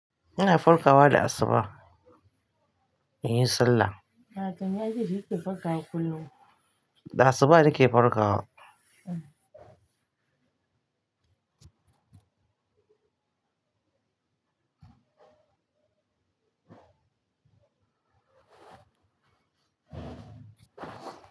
Ina farkawa da asubah in yi sallah. A tun ya ji shuke farkawa kullum. Da asubah nake farkawa.